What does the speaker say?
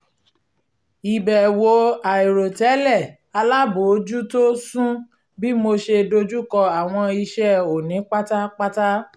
ìbẹ̀wò àìrò tẹ́lẹ̀ alábòójútó sún bí mo ṣe dojùkọ àwọn iṣẹ́ òní pátápátá